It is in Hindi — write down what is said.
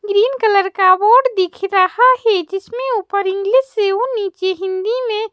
ग्रीन कलर का बोर्ड दिख रहा है जिसमें ऊपर इंग्लिश से और नीचे हिंदी में--